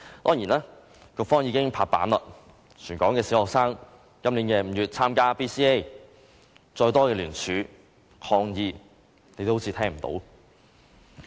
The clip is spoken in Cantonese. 當然，局方已經拍板，全港小學將於今年5月參加 BCA， 再多的聯署和抗議也仿如聽不到般。